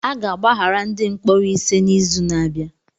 A ga-agbaghara ndị mkpọrọ ise n'izu na-abịa